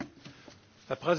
Herr Präsident!